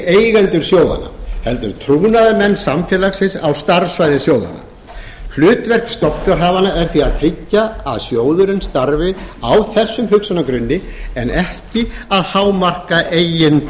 eigendur sjóðanna heldur trúnaðarmenn samfélagsins á starfssvæði sjóðanna hlutverk stofnfjárhafanna er því að tryggja að sjóðurinn starfi á þessum hugsjónagrunni en ekki að hámarka